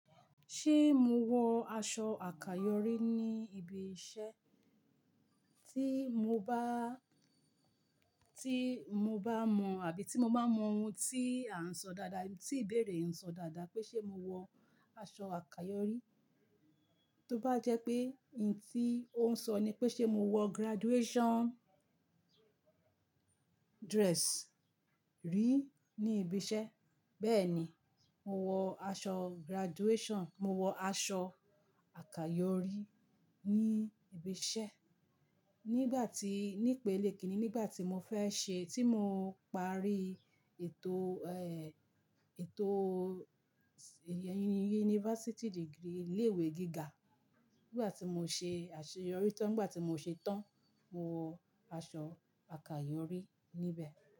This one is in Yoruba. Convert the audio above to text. Ṣé mo wọ aṣọ àkayòrí ní ibi iṣẹ́? Tí mo bá, tí mo bá mọ̀ àbí tí mo bá mọ ohun tí à ń sọ dáadáa, tí ìbéèrè ń sọ dáadáa pé ṣe mo wọ aṣọ àkayòrí. Tó bá jẹ́ pé ohun tí ó ń sọ ni pé ṣe mo wọ graduation dress rí ní ibi iṣẹ́. Bẹ́ẹ̀ni, mo wọ aṣọ graduation, mo wọ aṣọ àkayòrí ní ibi iṣẹ́. Nígbà tí, ní'pele kìíní nígbà tí mo fẹ́ ṣe, tí mo ń parí ètò, ẹ, ètò university degree ilé ìwé gíga. Nígbà tí mo ṣe àṣeyọrí tán, nígbà tí mo ṣe tán, mo wọ aṣọ àkayòrí níbẹ̀